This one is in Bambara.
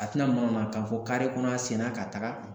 A tina manamanakan fɔ kare kɔnɔ a sen na ka taga